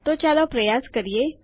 તો ચાલો પ્રયાસ કરીએ